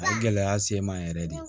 A ye gɛlɛya se n ma yɛrɛ de